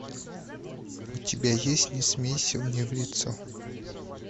у тебя есть не смейся мне в лицо